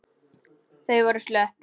Þau voru slöpp.